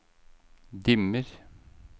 dimmer